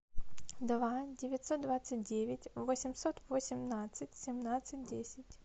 два девятьсот двадцать девять восемьсот восемнадцать семнадцать десять